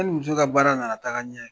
Ne ni muso ka baara nana taga ɲɛ.